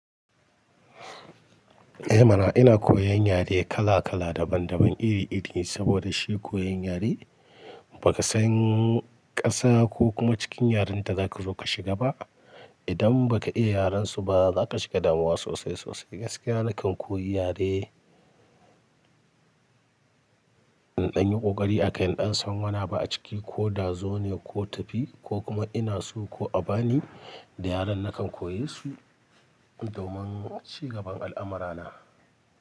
Eh mana, ina koyan yare kala-kala, daban-daban, iri-iri, saboda shi koyan yare ba ka san ƙasa ko kuma cikin yaren da zaka zo ka shiga ba. Idan ba ka iya yaren su ba za ka shiga damuwa sosai-sosai. Gaskiya nakan koyi yare, in ɗan yi ƙoƙari a kai in ɗan san wani abu a ciki koda zo ne ko tafi ko kuma ina so ko a bani da yaran nakan koye su domin cigaban al'amura na.